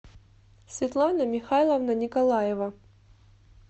светлана михайловна николаева